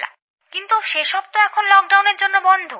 কিন্তু সেসব ত এখন লকডাউনের জন্য বন্ধ